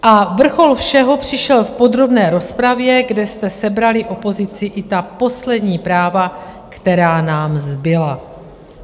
A vrchol všeho přišel v podrobné rozpravě, kde jste sebrali opozici i ta poslední práva, která nám zbyla.